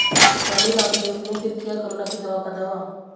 स्वामी रामदेव ने फिर किया कोरोना की दवा का दावा